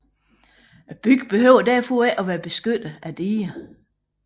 Byen behøves derfor ikke at være beskyttet af diger